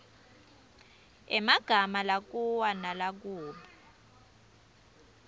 emagama lakua nalakub